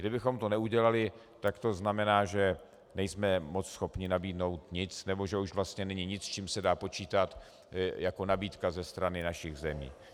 Kdybychom to neudělali, tak to znamená, že nejsme moc schopni nabídnout nic, nebo že už vlastně není nic, s čím se dá počítat jako nabídka ze strany našich zemí.